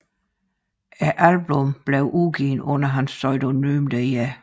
Albummet blev udgivet under hans pseudonym Dr